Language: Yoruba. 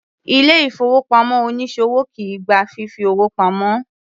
Ilé ìfowópamọ́ onísòwò kìí gba fífi owó pamo.